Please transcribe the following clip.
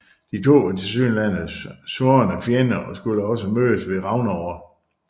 De to var tilsyneladende svorne fjender og skulle også mødes ved Ragnarok